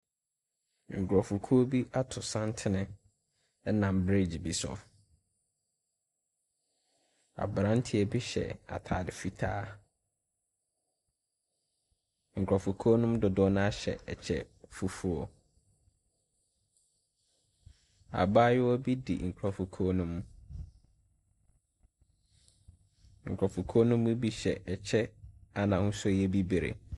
Nkurofokuo bi ato santene ɛnam breegye bi so. Abranteɛ bi hyɛ ataade fitaa. Nkurɔfokuo no dodoɔ naa hyɛ ɛkyɛ fufuo. Abaayewa bi di nkurɔfokuo no mu. Nkurɔfokuo no bi hyɛ ɛkyɛ a n'ahosuo yɛ bibire.